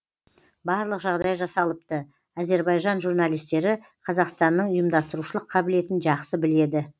барлық жағдай жасалыпты әзербайжан журналистері қазақстанның ұйымдастырушылық қабілетін жақсы біледі